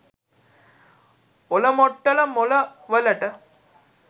ඔලමොට්ටල මොල වලට